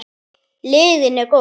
Lygin er góð.